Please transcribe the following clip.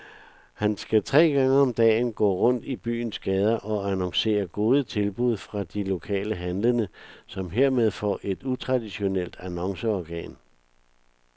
Han skal tre gange om dagen gå rundt i byens gader og annoncere gode tilbud fra de lokale handlende, som hermed får et utraditionelt annonceorgan.